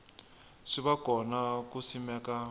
swi va kona ku simeka